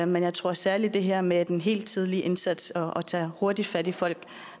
men jeg tror særlig at det her med den helt tidlige indsats og det at tage hurtigt fat i folk